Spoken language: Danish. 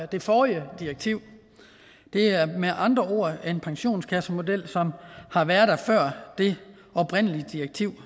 det forrige direktiv det er med andre ord en pensionskassemodel som har været der før det oprindelige direktiv